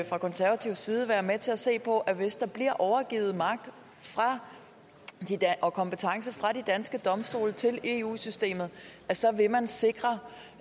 fra konservativ side være med til at se på at hvis der bliver overgivet magt og kompetence fra de danske domstole til eu systemet så vil man sikre